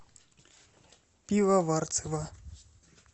пивоварцева